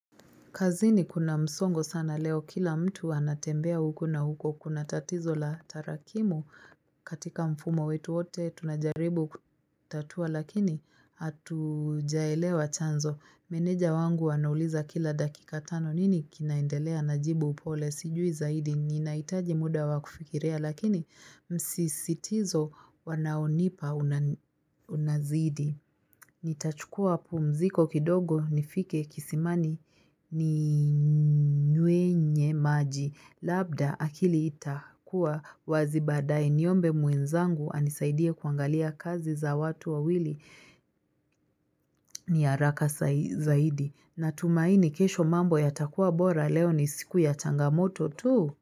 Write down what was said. Kazini kuna msongo sana leo kila mtu anatembea huko na huko kuna tatizo la tarakimu katika mfumo wetu wote tunajaribu kutatua lakini hatujaelewa chanzo. Meneja wangu anauliza kila dakika tano nini kinaendelea najibu upole sijui zaidi ninahitaji muda wa kufikiria lakini msisitizo wanaonipa unazidi. Nitachukua pumziko kidogo nifike kisimani ni nywenye maji Labda akili itakua wazi baadae niombe mwenzangu anisaidie kuangalia kazi za watu wawili ni haraka zaidi Natumaini kesho mambo yatakua bora leo ni siku ya changamoto tu.